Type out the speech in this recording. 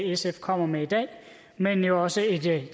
sf kommer med i dag men jo også et